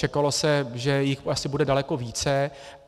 Čekalo se, že jich asi bude daleko více.